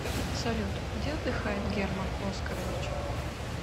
салют где отдыхает герман оскарович